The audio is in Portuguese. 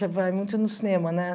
vai muito no cinema, né?